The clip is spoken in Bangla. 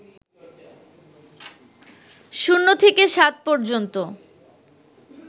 ০ থেকে ৭ পর্যন্ত